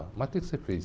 Mas o quê que você fez?